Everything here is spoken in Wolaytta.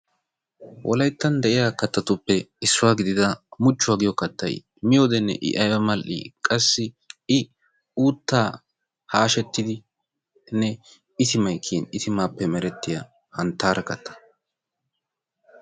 Wolayttan de'iyaa kaattatuppe issuwaa gidida muchchuwaa giyo kattay miyoodenne I aybba mal''i! qassi uutta hashshetidinne itimay kiyyin, itimappe kiyyiya hanttara katta.